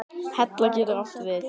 Hella getur átt við